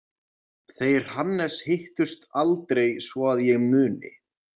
Þeir Hannes hittust aldrei svo að ég muni.